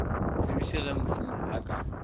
tsebiše ge mosenyi a ka